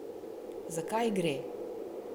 Zakaj gre?